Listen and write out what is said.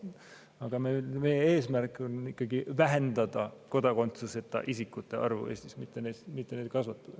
Aga meie eesmärk on ikkagi vähendada kodakondsuseta isikute arvu Eestis, mitte seda kasvatada.